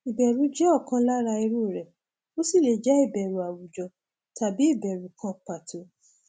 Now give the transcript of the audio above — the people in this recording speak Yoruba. ìbẹrù jẹ ọkan lára irú rẹ ó sì lè jẹ ìbẹrù àwùjọ tàbí ìbẹrù kan pàtó